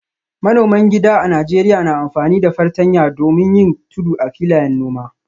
Manoman gida a Najeriya na amfani da fartanya domin yin tudu a filayen noma.